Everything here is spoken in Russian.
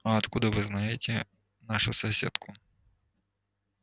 а откуда вы знаете нашу соседку